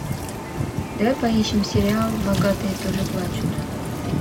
давай поищем сериал богатые тоже плачут